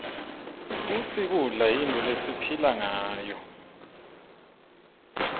futsi kudla yintfo lesiphila ngayo